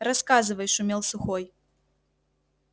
рассказывай шумел сухой